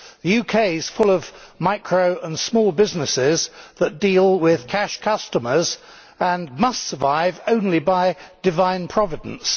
The UK is full of micro and small businesses which deal with cash customers and survive only by divine providence.